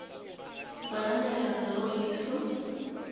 banana hi rhanga ro hisa